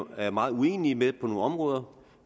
er meget uenige med på nogle områder